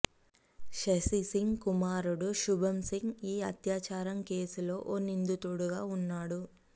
శశిసింగ్ కుమారుడు శుభం సింగ్ ఈ అత్యాచారం కేసులో ఓ నిందితుడిగా ఉన్నాడు